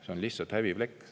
See on lihtsalt häbiplekk.